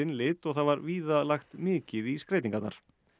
lit og það var víða lagt mikið í skreytingarnar